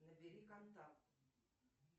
набери контакт